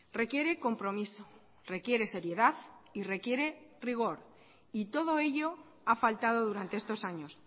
requiere compromiso requiere seriedad y requiere rigor y todo ello ha faltado durante estos años